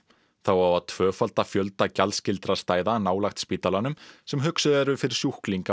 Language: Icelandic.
þá á að tvöfalda fjölda gjaldskyldra stæða nálægt spítalanum sem hugsuð eru fyrir sjúklinga